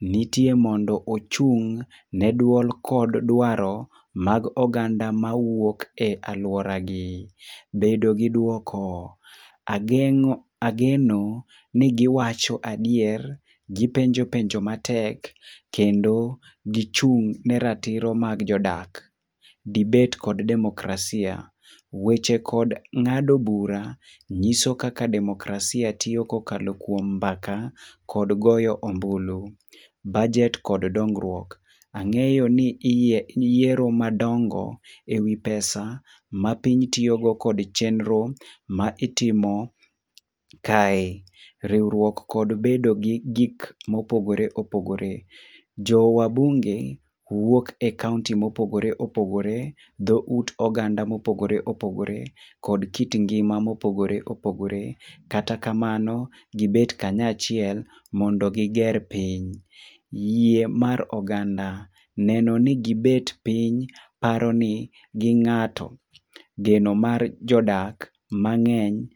nitie mondo ochung' ne duol kod dwaro mag oganda mawuok e aluoragi. Bedo gi duoko. Ageno ni giwacho adier, gipenjo penjo matek kendo gichung' ne ratiro mag jodak. Debate kod demokrasia. Weche kod ng'ado bura nyiso kaka demokrasia tiyo kokalo kuom mbaka kod goyo ombulu. Bajet kod dongruok. Ang'eyo ni yiero madongo ewi pesa ma piny tiyogo kod chenro ma itimo kae. Riwruok kod bedo gi gik mopogore opogore. Jo wabunge wuok e kaonti mopogore opogore, dhout oganda mopogore opogore kod kit ngima mopogore opogore, kata kamano gibet kanyachiel mondo giger piny. Yie mar oganda. Neno ni gibet piny paroni gi ng'ato. Geno mar jodak mang'eny.